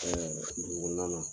dugu kɔnɔna na.